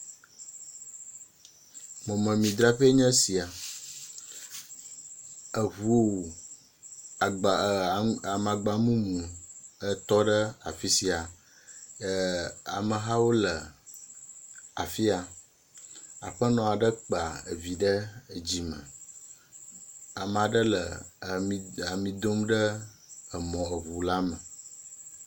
Mɔmemi dzraƒee nye sia, eŋu, agba ee amagba mumu etɔ ɖe afi sia, amehawo le afi ya. Aƒenɔ aɖe kpa evi ɖe edzi me. Ame aɖe le ami, ami dom ɖe emɔ, eŋu la me.